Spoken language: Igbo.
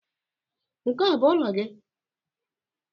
Nke a ọ bụ ụlọ gị?